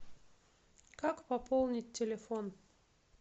как пополнить телефон